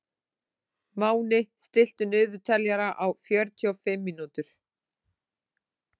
Máni, stilltu niðurteljara á fjörutíu mínútur.